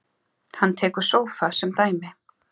Hann tekur sófa sem dæmi.